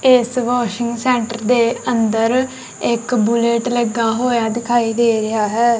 ਇਸ washing centre ਦੇ ਅੰਦਰ ਇੱਕ ਬੁਲਟ ਲੱਗਾ ਹੋਇਆ ਦਿਖਾਈ ਦੇ ਰਿਹਾ ਹੈ।